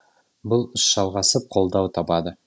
бұл іс жалғасып қолдау табады